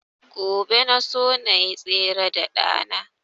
Gobe na so nayi tsere da ɗa na